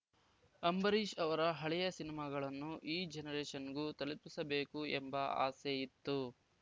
ಅಂಬರೀಷ್‌ ಅವರ ಹಳೆಯ ಸಿನಿಮಾಗಳನ್ನು ಈ ಜನರೇಷನ್‌ಗೂ ತಲುಪಿಸಬೇಕು ಎಂಬ ಆಸೆ ಇತ್ತು